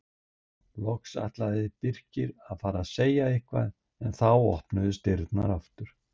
Loks ætlaði Birkir að fara að segja eitthvað en þá opnuðust dyrnar aftur.